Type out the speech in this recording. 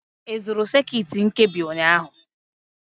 Ị zụrụ sekit nkebi ụnyaahụ?